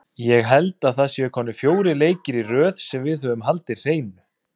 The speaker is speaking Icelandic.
Ég held að það séu komnir fjórir leikir í röð sem við höfum haldið hreinu.